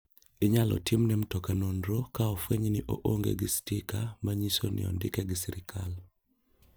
Inyal timne mtoka nonro ka onfweny ni oonge gi stika manyiso ni ondike gi sirkal.